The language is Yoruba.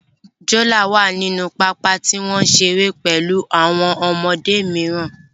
Jonah wà nínú pápá tí wọ́n ń ṣeré pẹ̀lú àwọn ọmọdé mìíràn